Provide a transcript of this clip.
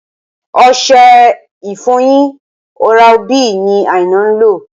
Ọṣẹ ìfọyín Oral B ni Aina ń lò